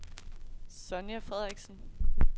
Sonja Frederiksen